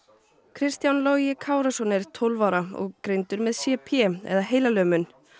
Kristján Logi Kárason er tólf ára og greindist með c p eða heilalömun